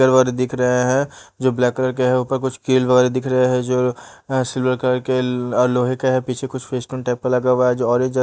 तलवारें दिख रहें हैं जो ब्लैक कलर के हैं ऊपर कुछ कील वगैरा दिख रहें हैं जो अ सिल्वर कलर के ल अ लोहे के हैं पीछे कुछ लगा हुवा हैं आज ऑरेंज हैं।